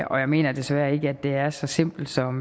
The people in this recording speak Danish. og jeg mener desværre ikke at det er så simpelt som